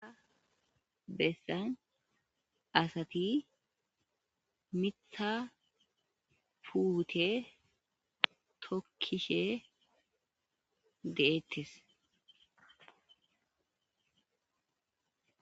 bessan asati mitha fuute tokkishe deettes